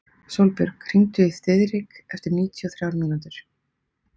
Sólbjörg, hringdu í Þiðrik eftir níutíu og þrjár mínútur.